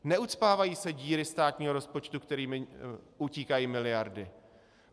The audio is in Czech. Neucpávají se díry státního rozpočtu, kterými utíkají miliardy.